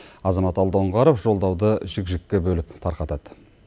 азамат алдоңғаров жолдауды жік жікке бөліп тарқатады